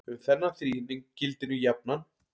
Um þennan þríhyrning gildir nú jafnan